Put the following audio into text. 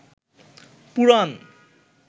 পুরাণ